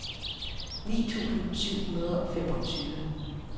ni tusind syv hundrede og femogtyve